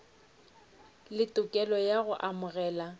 le tokelo ya go amogela